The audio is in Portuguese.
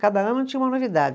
Cada ano tinha uma novidade.